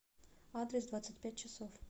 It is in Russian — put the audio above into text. адрес двадцать пять часов